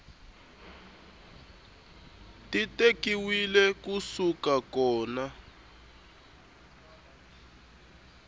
ti tekiwile ku suka kona